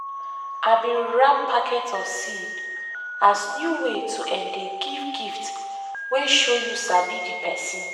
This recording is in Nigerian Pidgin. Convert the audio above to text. i bin wrap packet of seed as new way to um dey give gifts wey show you sabi di person.